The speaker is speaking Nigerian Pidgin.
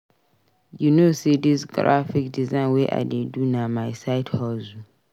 You know sey dis graphic design wey I dey do na my side hustle.